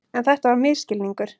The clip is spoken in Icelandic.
En þetta var misskilningur.